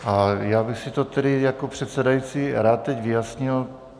A já bych si to tedy jako předsedající rád teď vyjasnil.